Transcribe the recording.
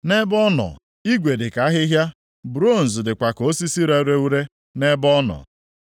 Nʼebe ọ nọ, igwe dị ka ahịhịa; bronz dịkwa ka osisi rere ure nʼebe ọ nọ.